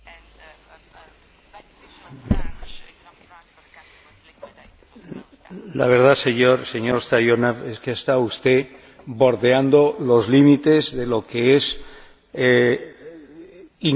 La verdad, señor Stoyanov, es que está usted bordeando los límites de lo que es incorrecto, inadecuado, desde el punto de vista del lenguaje parlamentario.